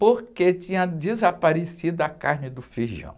porque tinha desaparecido a carne do feijão.